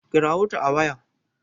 kirawo ta a waya!